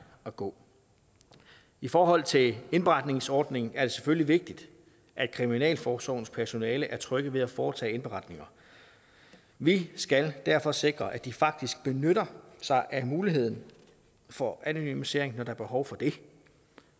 at gå i forhold til en indberetningsordning er det selvfølgelig vigtigt at kriminalforsorgens personale er trygge ved at foretage indberetninger vi skal derfor sikre at de faktisk benytter sig af muligheden for anonymisering når der er behov for det